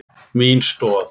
Mín stoð.